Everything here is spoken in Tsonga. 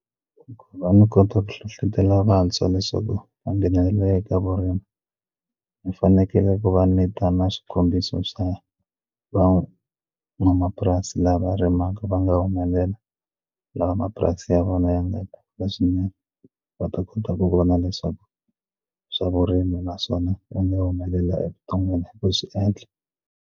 Ku va ni kota ku hlohlotelo vantshwa leswaku va nghenelela eka vurimi hi fanekele ku va ni ta na xikombiso swa van'wamapurasi la va ri mhaka va nga humelela lava mapurasi ya vona ya swinene va ta kota ku vona leswaku swa vurimi naswona u nga humelela evuton'wini ku swi endla.